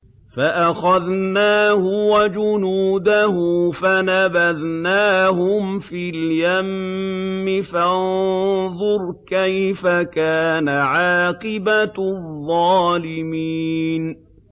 فَأَخَذْنَاهُ وَجُنُودَهُ فَنَبَذْنَاهُمْ فِي الْيَمِّ ۖ فَانظُرْ كَيْفَ كَانَ عَاقِبَةُ الظَّالِمِينَ